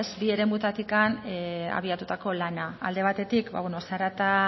bi eremuetatik abiatutako lana alde batetik zarata